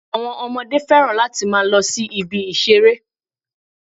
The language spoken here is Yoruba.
Àwọn Ọmọdé fẹ́ràn láti máa lo sí ibi ìṣeré